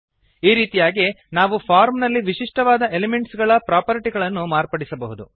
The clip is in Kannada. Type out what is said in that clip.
ಈ ರೀತಿಯಾಗಿ ನಾವು ಫಾರ್ಮ್ ನಲ್ಲಿ ವಿಶಿಷ್ಟವಾದ ಎಲಿಮೆಂಟ್ಸ್ ಗಳ ಪ್ರಾಪರ್ಟಿಗಳನ್ನು ಮಾರ್ಪಡಿಸಬಹುದು